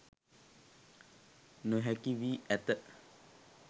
නොහැකි වී ඇත